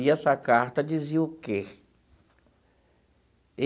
E essa carta dizia o quê?